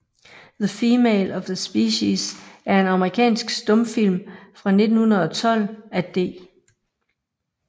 The Female of the Species er en amerikansk stumfilm fra 1912 af D